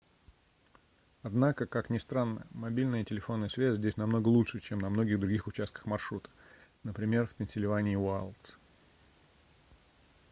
однако как ни странно мобильная телефонная связь здесь намного лучше чем на многих других участках маршрута например в пенсильвании уайлдс